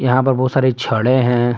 यहां पर बहुत सारी छडे़ हैं।